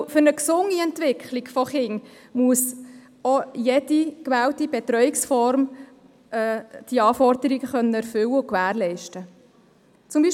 Denn für eine gesunde Entwicklung von Kindern muss jede gewählte Betreuungsform diese Anforderungen erfüllen und gewährleisten können.